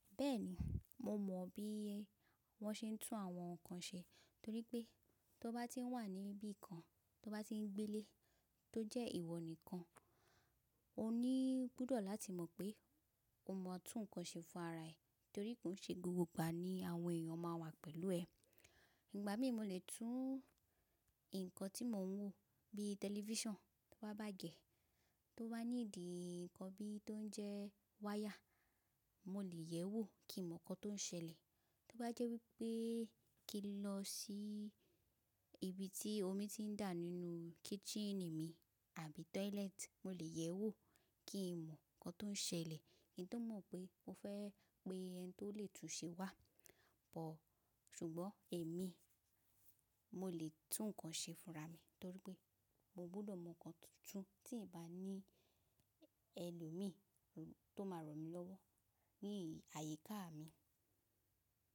Bẹ́ẹ̀ni, mo mọ̀ bí wọ́n se ń tún àwọn nǹkan ṣe torí pé tó bá ti wà níbí kan, tó bá ti ń gbélé tó jẹ́ ìwọ nìkan, o ní gbọ́dọ̀ láti mọ̀ pé o mọ tú nǹkan ṣe fún ara ẹ torí pé òun ṣe gbogbo ìgbà ni àwọn èèyàn máa wà pẹ̀lú ẹ. Ìgbà mi mo lè tún nǹkan tí mo ń wò bí tẹlifísàn tó bá bàjẹ́ tó bá need nǹkan bí i, tó ń jẹ́ wáyà, mo lè yẹ̀wò kí mo mọ̀ nǹkan tó ń ṣẹlẹ̀. Tó bá jẹ́ wípé kí n lọ sí ibi tí omi ti ń dà nínú kíítìnì mi àbí tọ́ílẹ́ẹ̀tì, mo lè yẹ̀wò kí n mọ̀ nǹkan tó ń ṣẹlẹ̀. Kí n tó mọ̀ pé mo fẹ́ pé ẹni tó lè tún ṣe wà. Ṣùgbọ́n èmi mo lè tún nǹkan ṣe fúnra mi torí pé mo gbọ́dọ̀ mọ̀ nǹkan tuntun tí ì bá ní ẹlòmíì tó máa ràn mí lọ́wọ́ ní àyíká mi.